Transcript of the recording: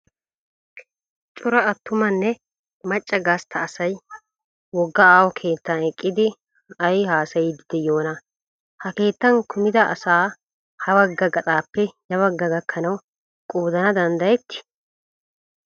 Cora attumanne macca gastta asayi wogga aaho keetan eqqidi ayi hasayiiddi diyoonaa? Ha keettan kumida asa habagga gaxaappe yabaggi gakkanawu qoodana danddayettii?